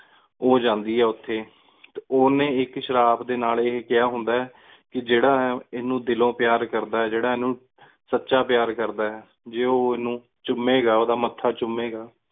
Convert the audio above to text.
ਉਜੰਦੀ ਆਯ ਓਥੇ ਓਹਨੇ ਏਕ ਸਰਾਪ ਦੇ ਨਾਲ ਇਹ ਕਿਹਾ ਹੁੰਦਾ ਆਯ ਕਿ ਜੇੜਾ ਇਨੁ ਦਿਲਉ ਪ੍ਯਾਰ ਕਰਦਾ ਜੀਰਾ ਏਨੁ ਸੱਚਾ ਪ੍ਯਾਰ ਕਰਦਾ ਆਯ ਜ਼ੇ ਓ ਏਨੁ ਚੁੱਮੇ ਗਏ ਉਦਾ ਮੱਥਾ ਚੁਮੇਗਾ